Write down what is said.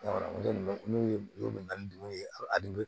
N'u ye u bɛ na ni dugu ye a dun